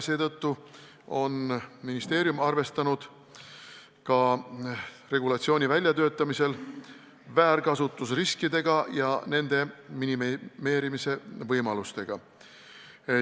Seetõttu on ministeerium arvestanud regulatsiooni väljatöötamisel väärkasutusriske ja nende minimeerimise võimalusi.